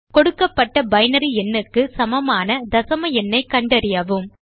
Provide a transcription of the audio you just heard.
கொடுக்கப்பட்ட பைனரி எண்ணுக்கு சமமான தசம எண்ணைக் கண்டறியவும்